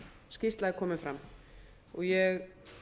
skýrsla er komin fram ég